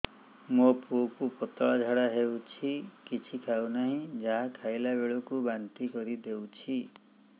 ମୋ ପୁଅ କୁ ପତଳା ଝାଡ଼ା ହେଉଛି କିଛି ଖାଉ ନାହିଁ ଯାହା ଖାଇଲାବେଳକୁ ବାନ୍ତି କରି ଦେଉଛି